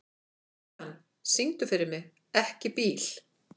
Ían, syngdu fyrir mig „Ekki bíl“.